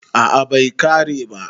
a a Bai kare ba